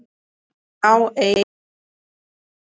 Já, einu sinni.